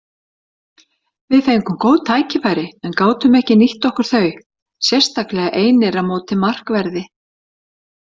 Við fengum góð tækifæri en gátum ekki nýtt okkur þau, sérstaklega einir á móti markverði.